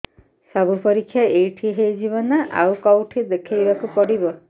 ସବୁ ପରୀକ୍ଷା ଏଇଠି ହେଇଯିବ ନା ଆଉ କଉଠି ଦେଖେଇ ବାକୁ ପଡ଼ିବ